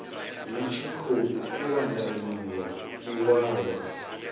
hu tshi khou kuvhanganyiwa iwalwa